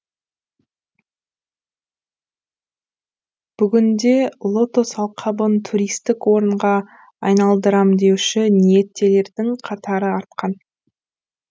бүгінде лотос алқабын туристік орынға айналдырам деуші ниеттілердің қатары артқан